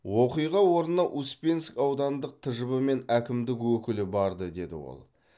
оқиға орнына успенск аудандық тжб пен әкімдік өкілі барды деді ол